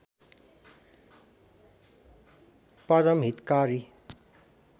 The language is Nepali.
परम हितकारी